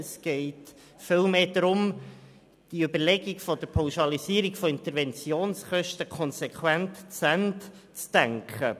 Es geht vielmehr darum, die Überlegung der Pauschalisierung von Interventionskosten konsequent zu Ende zu denken.